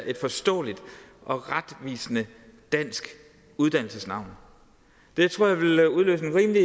et forståeligt og retvisende dansk uddannelsesnavn det tror jeg ville udløse en rimelig